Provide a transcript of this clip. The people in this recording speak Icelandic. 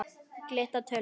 Gylltar tölur.